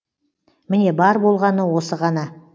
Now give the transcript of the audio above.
міне бар болғаны осы ғана